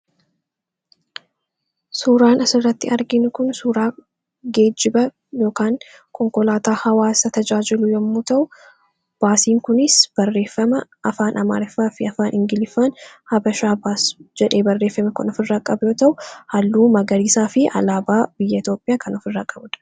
Suuraan asirratti argiin kun suuraa geejjiba konkolaataa hawaasa tajaajilu yommuu ta'u. Baasiin kunis barreeffama afaan amaariffaa fi afaan ingilifaan habashaa baas jedhee barreeffame kan of irraa qabu yoo ta'u. Halluu magariisaa fi alaabaa biyya Itoophiyaa kan of irraa qabuudha.